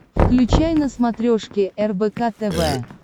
включай на смотрешке рбк тв